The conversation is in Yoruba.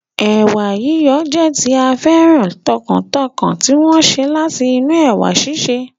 Ẹ̀wà yíyon jẹ́ tí a féràn tọkàntọkàn tí wọ́n sè láti inú ẹ̀wà síse